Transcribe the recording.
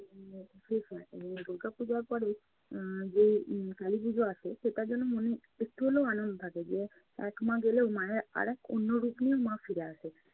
শেষ হয়। দুর্গাপূজার পরে আহ যে উম কালীপূজো আসে সেটার জন্যে মনে একটু হলেও আনদ থাকে যে এক মা গেলেও মায়ের আরেক অন্য রূপ নিয়েও মা ফিরে আসে।